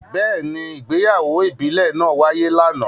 Beeni, ìgbéyàwó ìbílè naa waye lana.